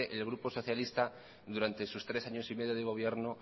el grupo socialista durante sus tres años y medio de gobierno